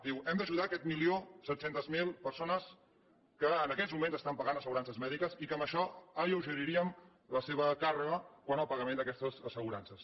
diu hem d’ajudar aquest milió set centes mil persones que en aquests moments paguen assegurances mèdiques i que amb això alleugeriríem la seva càrrega quant al pagament d’aquestes assegurances